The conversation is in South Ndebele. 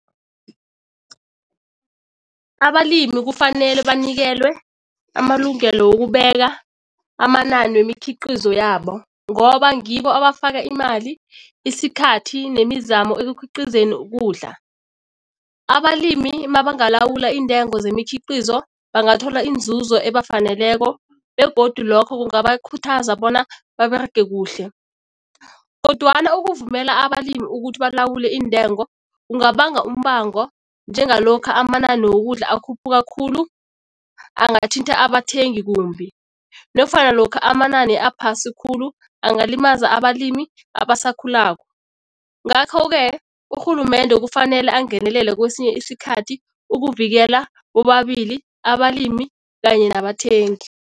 Abalimi kufanele banikelwe amalungelo wokubeka amanani wemikhiqizo yabo ngoba ngibo abafaka imali, isikhathi nemizamo ekukhiqizeni ukudla. Abalimi mabangalawula iintengo zemikhiqizo bangathola inzuzo abafaneleko begodu lokho kungabakhuthaza bona baberege kuhle. Kodwana ukuvumela abalimi ukuthi balawule iintengo kungabanga umbango njengalokha amanani wokudla akhuphuka khulu angathinta abathengi kumbi nofana lokha amanani aphasi khulu angalimaza abalimi abasakhulako. Ngakho-ke urhulumende kufanele angenelele kwesinye isikhathi ukuvikela bobabili abalimi kanye nabathengi.